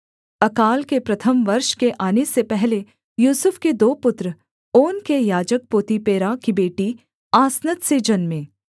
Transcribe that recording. अकाल के प्रथम वर्ष के आने से पहले यूसुफ के दो पुत्र ओन के याजक पोतीपेरा की बेटी आसनत से जन्मे